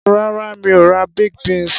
Rárá, mi ò ra baked beans.